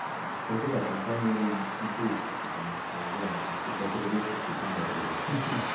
кстати да компании бит лучше потому что реально кто то отрубился все пизда придёт